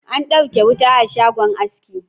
An ɗauke wuta a shagon aski